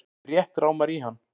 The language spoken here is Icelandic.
Mig rétt rámar í hann.